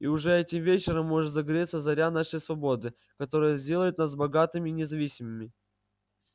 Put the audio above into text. и уже этим вечером может загореться заря нашей свободы которая сделает нас богатыми и независимыми